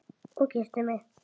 Og kyssti mig.